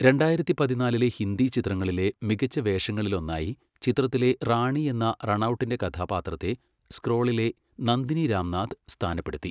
രണ്ടായിരത്തി പതിന്നാലിലെ ഹിന്ദി ചിത്രങ്ങളിലെ മികച്ച വേഷങ്ങളിലൊന്നായി ചിത്രത്തിലെ റാണി എന്ന റണൗട്ടിൻ്റെ കഥാപാത്രത്തെ സ്ക്രോളിലെ നന്ദിനി രാംനാഥ് സ്ഥാനപ്പെടുത്തി.